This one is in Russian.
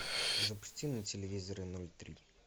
запусти на телевизоре ноль три